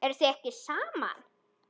Eruð þið ekki saman?